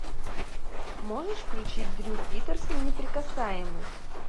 можешь включить дрю питерсон неприкасаемые